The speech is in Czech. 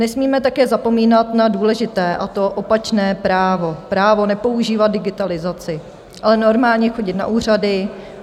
Nesmíme také zapomínat na důležité, a to opačné právo - právo nepoužívat digitalizaci, ale normálně chodit na úřady.